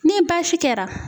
Ni baasi kɛra